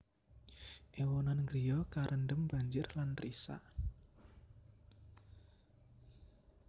Ewonan griya karendem banjir lan risak